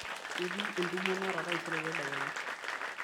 ketii entumo naata taisere tadekenya